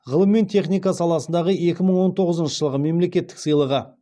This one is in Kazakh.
ғылым мен техника саласындағы екі мың он тоғызыншы жылғы мемлекеттік сыйлығы